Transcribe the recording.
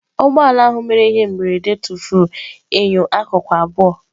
Ụgbọ ala ahụ nke mere ihe mberede tụfuru enyo akụkụ abụọ.